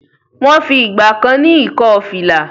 Wọ́n fi ìgbà kan ní ìkọ́-fìlà.